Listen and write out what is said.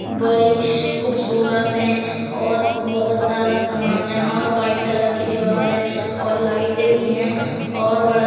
बड़ी खुबसूरत है और बहुत सारा सामान है और व्हाइट कलर की दीवार है और लाइट भी है और बड़ा --